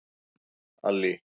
Allý